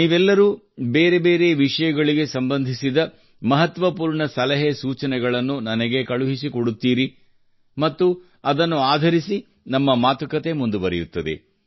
ನೀವೆಲ್ಲರೂ ಬೇರೆ ಬೇರೆ ವಿಷಯಗಳಿಗೆ ಸಂಬಂಧಿಸಿದ ಮಹತ್ವಪೂರ್ಣ ಸಲಹೆ ಸೂಚನೆಗಳನ್ನು ನನಗೆ ಕಳುಹಿಸಿಕೊಡುತ್ತೀರಿ ಮತ್ತು ಅದನ್ನು ಆಧರಿಸಿ ನಮ್ಮ ಮಾತುಕತೆ ಮುಂದುವರಿಯುತ್ತದೆ